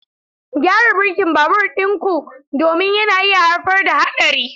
Gyara birkin babur ɗin ku domin yana iya haifar da haɗari.